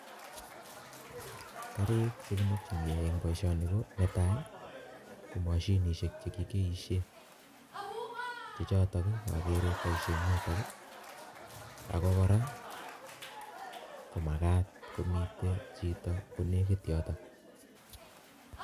Karik cheimokinigei, en boisoni ko netai ko mashinishek chekikeishen chechoton kibaishen en yuton akomakat komiten Chito yuton